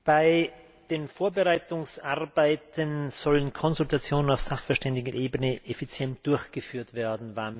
Bei den Vorbereitungsarbeiten sollen Konsultationen auf Sachverständigenebene effizient durchgeführt werden